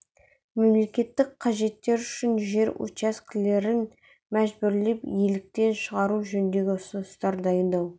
мемлекеттік қажеттер үшін жер учаскелерін мәжбүрлеп иеліктен шығару жөнінде ұсыныстар дайындау